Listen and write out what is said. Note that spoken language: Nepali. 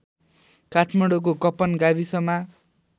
काठमाडौँको कपन गाविसमा